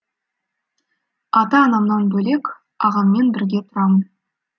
ата анамнан бөлек ағаммен бірге тұрамын